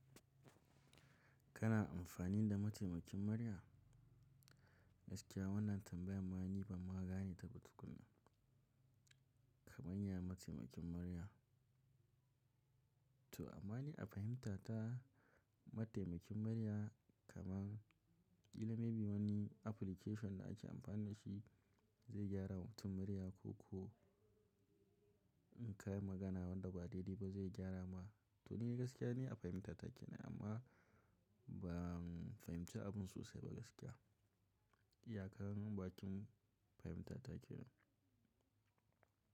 Kana amfani da mataimakin murya? Gaskiya wannan tambayan mah ni ban ma gani ta ba tukuna. Kamanya mataimakin murya, to amma a fahimta ta mataimakin murya kaman kila may be wani application da ake amfani dashi zai gyara mutum murya ko, ko in ka yi magana wanda ba daidai ba zai gyara ma. To ni gaskiya ne a fahimta take amma ban fahimci abun sosai ba gaskiya. Ya kam baƙin fahimta take ne.